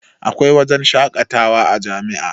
Akwai wajen shakatawa a jami'a